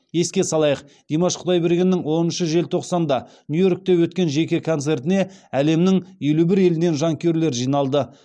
еске салайық димаш құдайбергеннің оныншы желтоқсанда нью йоркте өткен жеке концертіне әлемнің елу бір елінен жанкүйерлер жиналды